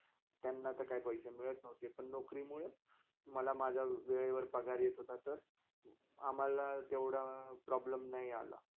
त्यांना ते काही पैसे मिळत नव्हते. नोकरीमुळे मला माझा वेळेवर पगार येत होता तर आम्हाला जेव्डा problem नय आला.